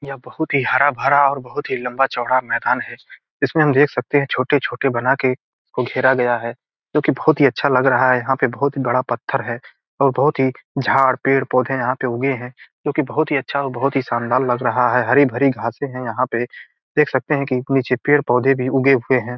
यहाँ पे बहुत ही हरा-भरा और बहुत ही लम्बा-चौड़ा मैदान है इसमें इसमें हम देख सकते है छोटे-छोटे बना के इसको घेरा गया है जो कि बहुत अच्छा लग रहा है यहाँ पे बहुत बड़ा पत्थर है और बहुत ही झाड़ पेड़-पौधे उगे हुए है जो की बहुत ही अच्छा और शानदार लग रहा है हरी-भरी घासे है यहाँ पे देख सकते है नीचे पेड़-पौधे भी उगे हुए हैं।